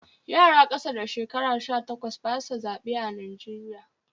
Yara ƙasa da shekara sha takwas ba su zaɓe a Najeriya.